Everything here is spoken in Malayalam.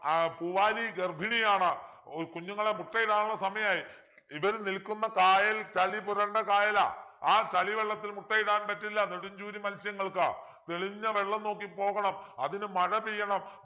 ആഹ് പൂവാലി ഗർഭിണിയാണ് ഏർ കുഞ്ഞുങ്ങളെ മുട്ടയിടാനുള്ള സമയായി ഇവര് നിൽക്കുന്ന കായൽ ചളി പുരണ്ട കായലാ ആ ചളി വെള്ളത്തിൽ മുട്ടയിടാൻ പറ്റില്ല നെടും ചൂരി മത്സ്യങ്ങൾക്ക് തെളിഞ്ഞ വെള്ളം നോക്കി പോകണം അതിനു മഴ പെയ്യണം